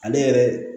Ale yɛrɛ